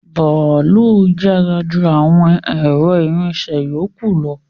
Bàálù yára ju àwọn ẹ̀rọ ìrìnsẹ̀ yókù lọ